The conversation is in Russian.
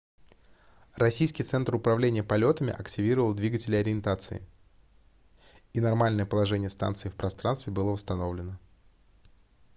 российский центр управления полетами активировал двигатели ориентации и нормальное положение станции в пространстве было восстановлено